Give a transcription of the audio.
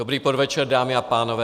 Dobrý podvečer, dámy a pánové.